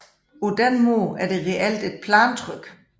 På den måde er det reelt et plantryk